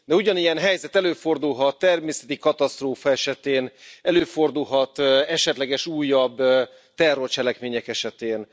De ugyanilyen helyzet előfordulhat természeti katasztrófa esetén, előfordulhat esetleges újabb terrorcselekmények esetén.